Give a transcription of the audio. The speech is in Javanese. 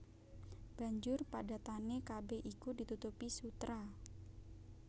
Banjur padatané kabèh iku ditutupi sutra